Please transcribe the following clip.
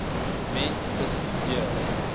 mens s j